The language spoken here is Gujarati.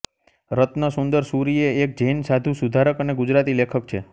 રત્નસુંદરસૂરિ એ એક જૈન સાધુ સુધારક અને ગુજરાતી લેખક છે